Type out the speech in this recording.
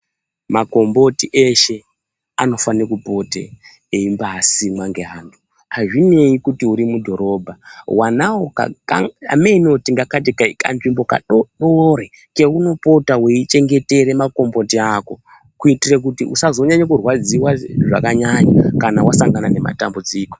Makomboti eshe anofana kupota eibasimwa neantu azvinei kuti uri mudhorobha wanawo kamweni tikangati kaiyini katsvimbo kadodori keunopota weichengetera makomboti ako kuitira kuti usanyanya kurwadziwa zvakanyanya kana wasangana nematambudziko.